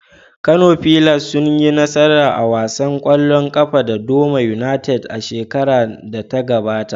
Kano fillars sun yi nasara a wasan kwallon kafa da Doma United a shekarar da ta gabata.